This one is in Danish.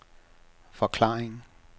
forklaring